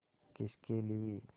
किसके लिए